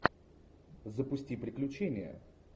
запусти приключения